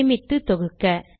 சேமித்து தொகுக்க